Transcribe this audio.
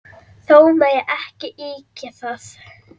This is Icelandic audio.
Þó megi ekki ýkja það.